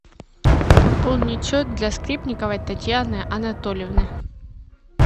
пополнить счет для скрипниковой татьяны анатольевны